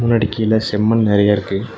மின்னாடி கீழ செம்மண் நறையா இருக்கு.